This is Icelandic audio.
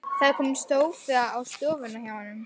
Það er kominn sófi á stofuna hjá honum.